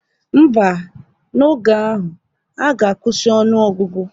Ḿbà, n'oge ahụ, ha ga-akwụsị ọnụ ọgụgụ.